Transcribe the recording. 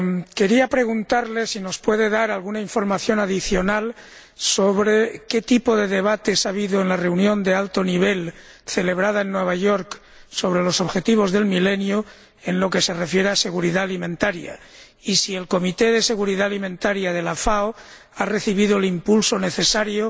Quería preguntarle si nos puede dar alguna información adicional sobre qué tipo de debates ha habido en la reunión de alto nivel celebrada en Nueva York sobre los Objetivos de Desarrollo del Milenio en lo que se refiere a seguridad alimentaria, y si el Comité de Seguridad Alimentaria de la FAO ha recibido el impulso necesario